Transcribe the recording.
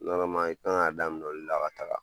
i kan ka daminɛ olu la ka taga